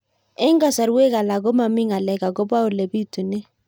Eng' kasarwek alak ko mami ng'alek akopo ole pitunee